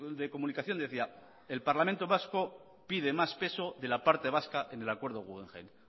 de comunicación decía el parlamento vasco pide más peso de la parte vasca en el acuerdo guggenheim